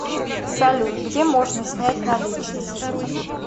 салют где можно снять наличности